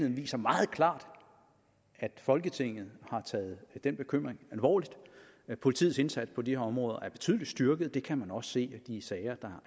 viser meget klart at folketinget har taget den bekymring alvorligt politiets indsats på de her områder er betydeligt styrket og det kan man også se af de sager der